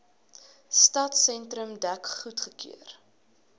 stadsentrum dek goedgekeur